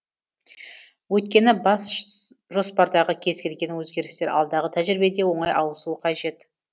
өйткені бас жоспардағы кез келген өзгерістер алдағы тәжірибеде оңай ауысуы қажет